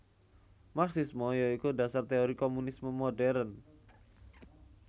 Marxisme ya iku dasar teori komunisme modern